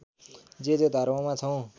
जे जे धर्ममा छौँ